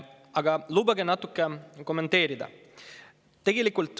Aga lubage mul natuke kommenteerida.